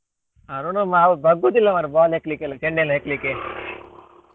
ಅರುಣವಾ ಅವ ಬಗ್ಗುದಿಲ್ಲ ಮಾರ್ರೆ ball ಹೆಕ್ಲಿಕ್ಕೆಲ್ಲ ಚೆಂಡೆಲ್ಲ ಹೆಕ್ಲಿಕ್ಕೆ .